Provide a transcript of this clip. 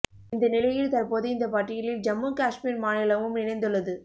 இந்த நிலையில் தற்போது இந்த பட்டியலில் ஜம்மு காஷ்மீர் மாநிலமும் இணைந்துள்ளது